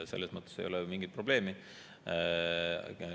Selles mõttes ei ole mingit probleemi.